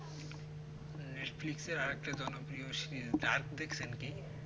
netflix আর একটা জনপ্রিয় series dark দেখছেন কি